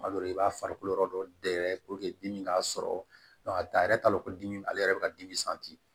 Kuma dɔ la i b'a farikolo yɔrɔ dɔ dɛgɛ dimi k'a sɔrɔ a yɛrɛ t'a dɔn ko dimi ale yɛrɛ bɛ ka dimi